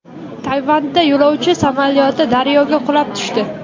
Tayvanda yo‘lovchi samolyoti daryoga qulab tushdi.